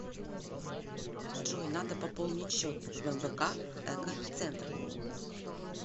джой надо пополнить счет в мвк эко центр